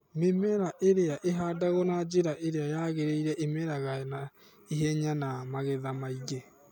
mĩmera ĩrĩa ĩhandagwo na njĩra ĩrĩa yangerĩire ĩmeraga na ĩhenya na magetha maĩngĩ